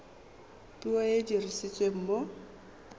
puo e e dirisiwang mo